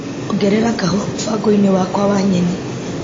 Ongerera kahũa mũbango-inĩ wakwa wa nyeni .